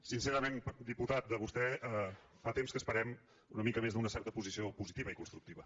sincerament diputat de vostè fa temps que esperem una mica més d’una certa posició positiva i constructiva